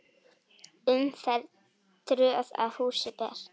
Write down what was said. Umferð tröð að húsi ber.